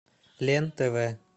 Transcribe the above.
лен тв